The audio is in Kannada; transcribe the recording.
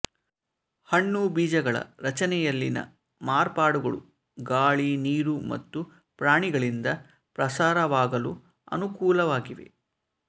ಹಣ್ಣು ಬೀಜಗಳ ರಚನೆಯಲ್ಲಿನ ಮಾಪಾರ್ಡುಗಳು ಗಾಳಿ ನೀರು ಮತ್ತು ಪ್ರಾಣಿಗಳಿಂದ ಪ್ರಸಾರವಾಗಲು ಅನುಕೂಲವಾಗಿವೆ